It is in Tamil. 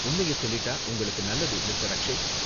உண்மைய சொல்லிட்டா உங்களுக்கு நல்லது மிஸ்டர். அக்ஷய்